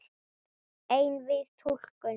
Einvíð túlkun